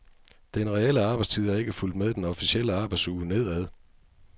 Den reelle arbejdstid er ikke fulgt med den officielle arbejdsuge nedad.